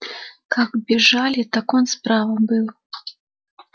как бежали так он справа был